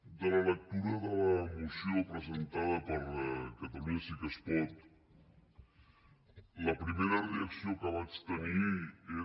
de la lectura de la moció presentada per catalunya sí que es pot la primera reacció que vaig tenir és